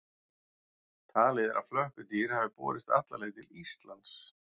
Talið er að flökkudýr hafi borist alla leið til Íslands.